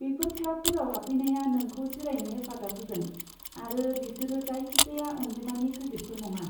बेफोर क्लाबफोराव हाबफैनाया नोंखौ जिरायनो हेफाजाब होगोन, आरो बेसोरो जायखिजाया अनजिमानि क्रेडिटफोर नङा।